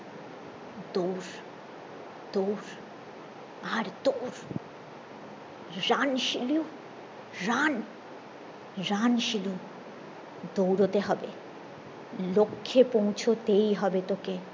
দৌড় দৌড় আর দৌড় run Shilu run run Shilu দৌড়োতে হবে লক্ষে পৌঁছাতেই হবে তোকে